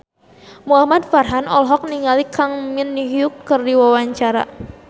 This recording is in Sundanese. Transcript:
Muhamad Farhan olohok ningali Kang Min Hyuk keur diwawancara